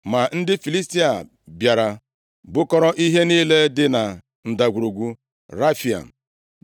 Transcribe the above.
Ma ndị Filistia bịara, bukọrọ ihe niile dị na Ndagwurugwu Refaim.